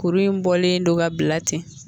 Kuru in bɔlen don ka bila ten